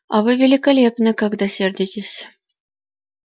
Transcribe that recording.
а вы великолепны когда сердитесь